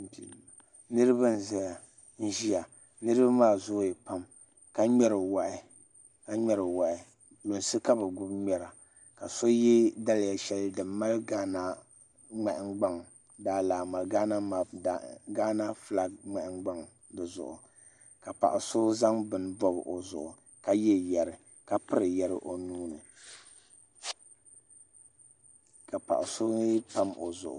Niraba n ʒiya niraba maa zooya pam ka ŋmɛri wahi lunsi ka bi gbubi ŋmɛra ka so yɛ daliya shɛli din mali gaana nahangbaŋ gaana fulak nahangbaŋ dizuɣu ka paɣa so zaŋ bini n bob o zuɣu ka yɛ yɛri ka piri yɛri o nuuni ka paɣa so mii pam o zuɣu